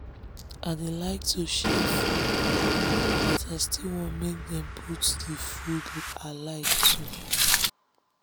i dey like to share food but i still want make dem dey put d food i like too